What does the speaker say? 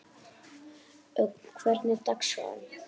Ögn, hvernig er dagskráin?